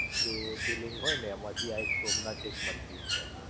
જ્યોતિર્લિંગ હોય ને એમાંથી આ સોમનાથ આ એક મંદિર છે